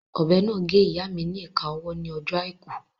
Ọ̀bẹ náà gé ìyáa mi ni ìka ọwọ́ ní ọjọ́ àìkú